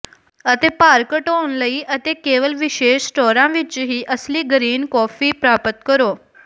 ਅਤੇ ਭਾਰ ਘਟਾਉਣ ਲਈ ਅਤੇ ਕੇਵਲ ਵਿਸ਼ੇਸ਼ ਸਟੋਰਾਂ ਵਿੱਚ ਹੀ ਅਸਲੀ ਗਰੀਨ ਕੌਫੀ ਪ੍ਰਾਪਤ ਕਰੋ